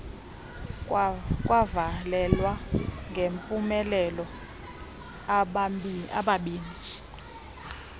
kwavalelwa ngempumelelo ababini